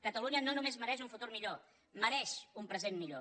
catalunya no només mereix un futur millor mereix un present millor